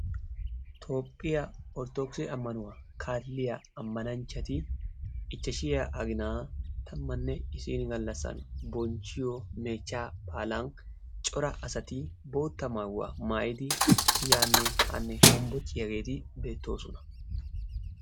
Toophphiya orttodokkisse ammanuwa kaalliyageeti ammanaanchchati ichchashshiya aginaa tammanne issi gallassa bonchchanaayo meechchaa baalan cora asati boottaa maayuwa maayiyda yaanne haanne hombbocciyageeti beettoosona.